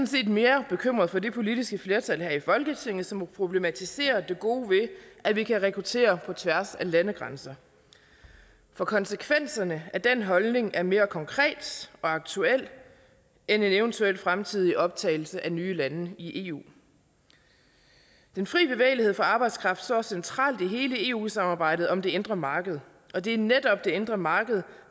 set mere bekymret for det politiske flertal her i folketinget som problematiserer det gode ved at vi kan rekruttere på tværs af landegrænser for konsekvenserne af den holdning er mere konkrete og aktuelle end en eventuel fremtidig optagelse af nye lande i eu den fri bevægelighed for arbejdskraft står centralt i hele eu samarbejdet om det indre marked og det er netop det indre marked